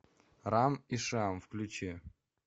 рам и шиам включи